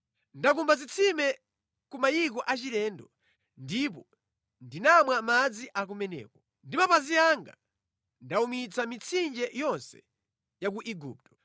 Ndakumba zitsime ku mayiko achilendo ndipo ndinamwa madzi a kumeneko. Ndi mapazi anga ndawumitsa mitsinje yonse ya ku Igupto.’ ”